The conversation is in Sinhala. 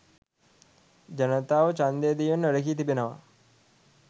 ජනතාව ඡන්දය දීමෙන් වැළකී තිබෙනවා